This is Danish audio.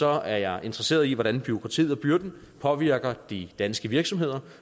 er jeg interesseret i hvordan bureaukratiet og byrden påvirker de danske virksomheder